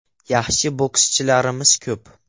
Yaxshi bokschilarimiz ko‘p.